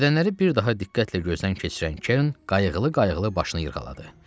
Bədənləri bir daha diqqətlə gözdən keçirən Kern qayıqlı-qayıqlı başını yırğaladı.